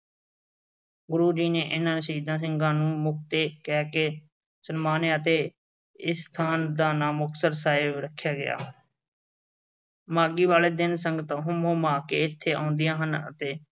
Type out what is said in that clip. ਗੁਰੂ ਜੀ ਨੇ ਇਨ੍ਹਾਂ ਸ਼ਹੀਦ ਸਿੰਘਾਂ ਨੂੰ ਮੁਕਤੇ ਕਹਿ ਕੇ ਸਨਮਾਨਿਆ ਅਤੇ ਇਸ ਸਥਾਨ ਦਾ ਨਾਂ ਮੁਕਤਸਰ ਸਾਹਿਬ ਰੱਖਿਆ ਗਿਆ। ਮਾਘੀ ਵਾਲੇ ਦਿਨ ਸੰਸਤਾਂ ਹੁੰਮ-ਹੁਮਾ ਕੇ ਇੱਥੇ ਆਉਂਦੀਆਂ ਹਨ ਅਤੇ